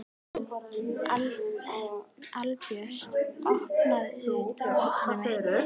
Albjört, opnaðu dagatalið mitt.